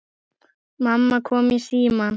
Mamma kom í símann.